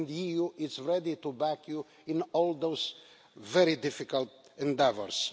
The EU is ready to back you in all of these very difficult endeavours.